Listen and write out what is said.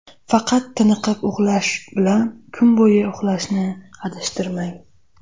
Faqat tiniqib uxlash bilan kun bo‘yi uxlashni adashtirmang.